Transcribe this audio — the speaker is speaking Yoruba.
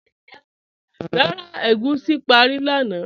Rárá, ègúsi párí lánà